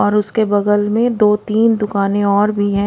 और उसके बगल में दो तीन दुकाने और भी है।